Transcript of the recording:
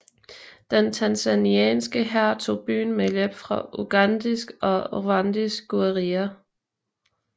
Den tanzanianske hær tog byen med hjælp fra ugandisk og rwandisk guerilla